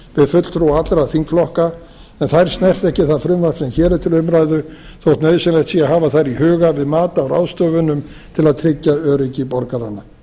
fulltrúa allra þingflokka en þær snerta ekki það frumvarp sem hér er til umræðu þótt nauðsynlegt að hafa þær í huga við mat á ráðstöfunum til að tryggja öryggi borgaranna